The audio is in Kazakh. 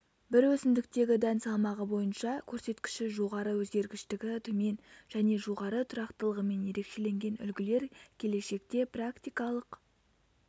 бір өсімдіктегі дән салмағы бойынша көрсеткіші жоғары өзгергіштігі төмен және жоғары тұрақтылығымен ерекшеленген үлгілер келешекте практикалық